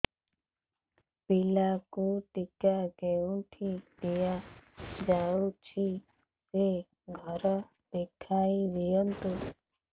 ପିଲାକୁ ଟିକା କେଉଁଠି ଦିଆଯାଉଛି ସେ ଘର ଦେଖାଇ ଦିଅନ୍ତୁ